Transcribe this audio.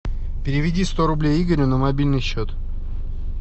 переведи сто рублей игорю на мобильный счет